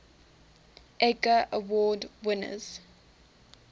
edgar award winners